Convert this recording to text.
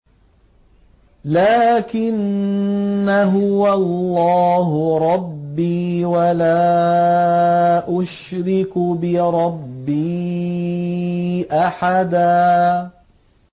لَّٰكِنَّا هُوَ اللَّهُ رَبِّي وَلَا أُشْرِكُ بِرَبِّي أَحَدًا